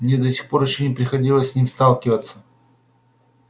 мне до сих пор ещё не приходилось с ним сталкиваться